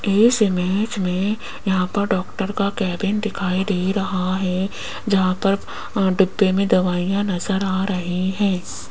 इस इमेज मे यहां पर डॉक्टर का केबिन दिखाई दे रहा है जहां पर अं डिब्बे मे दवाईयां नज़र आ रही है।